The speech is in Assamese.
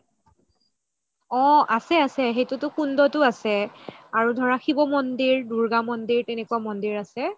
অহ আছে আছে সেইটো টো কুণ্ডটো আছে আৰু ধৰা ধৰা শিৱ মন্দিৰ দুৰ্গা মন্দিৰ তেনেকুৱা মন্দিৰ আছে